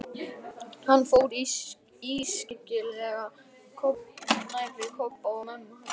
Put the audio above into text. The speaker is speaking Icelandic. Hann fór ískyggilega nærri Kobba og mömmu hans.